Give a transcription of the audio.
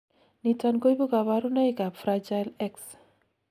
niton koibu kaborunoik ab Fragile X